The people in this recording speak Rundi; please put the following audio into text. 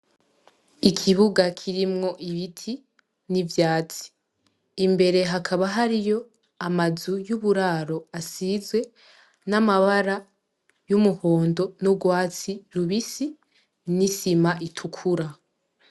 Ikibuga kirimwo ibiti n'ivyatsi imbere hakaba hariyo amazu y'uburaro asizwe n'amabara y'umuhondo nu rwatsi rubisi n'isima itukura.